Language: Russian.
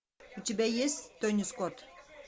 у тебя есть тони скотт